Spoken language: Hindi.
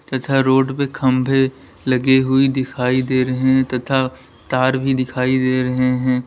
तथा रोड पे खंभे लगे हुई दिखाई दे रहे हैं तथा तार भी दिखाई दे रहे हैं।